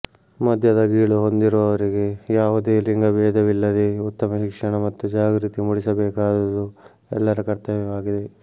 ಮದ್ಯದ ಗೀಳು ಹೊಂದಿರುವವರಿಗೆ ಯಾವುದೇ ಲಿಂಗಭೇದವಿಲ್ಲದೇ ಉತ್ತಮ ಶಿಕ್ಷಣ ಮತ್ತು ಜಾಗೃತಿ ಮೂಡಿಸಬೇಕಾದುದು ಎಲ್ಲರ ಕರ್ತವ್ಯವಾಗಿದೆ